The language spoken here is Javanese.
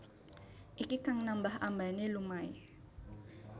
Iki kang nambah ambané lumahé